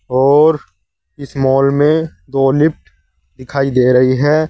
और इस मॉल में दो लिफ्ट दिखाई दे रही है।